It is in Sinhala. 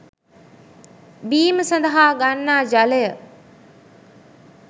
බීම සඳහා ගන්නා ජලය